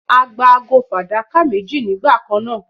A gba ago fàdákà méjì nígbà kan náà